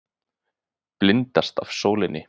Blindast af sólinni.